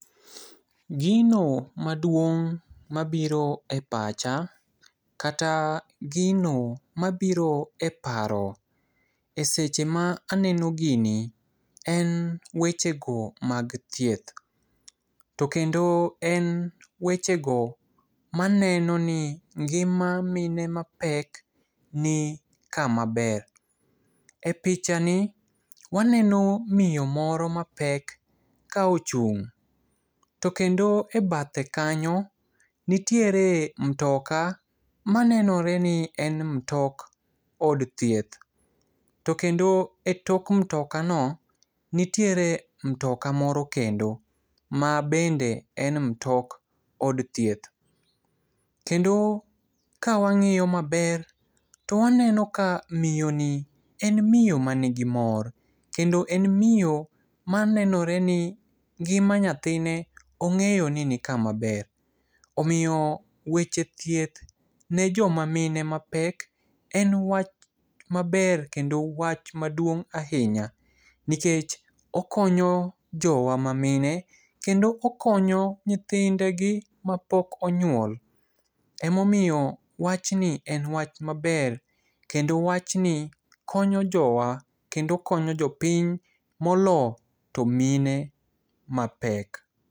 Gino maduong' mabiro e pacha kata gino mabiro e paro eseche ma aneno gini en wechego mag thieth. To kendo en wechego maneno ni ngima mine mapek ni kama ber. Epichani, waneno miyo moro mapek ka ochung' to kendo ebathe kanyo nitiere mutoka manenore ni en mutok od thieth. To kendo etok mutokani nitiere mutoka moro kendo mabende en mutok od thieth. Kendo kawang'iyo maber to waneno ka miyoni en miyo man gi mor. Kendo en miyo manenore ni ngima nyathine ong'eyo ni nikama ber. Omiyo weche thieth nejoma mine mapek en wach maber kendo wach maduong' ahinya nikech okonyo jowa ma mine kendo okonyo nyithindegi mapok onyuol. Ema omiyo wachni en wach maber kendo wachni konyo jowa kendo konyo jopiny moloyo to mine mapek.